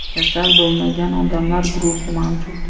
kasal bo‘lmagan odamlar guruhi mavjud.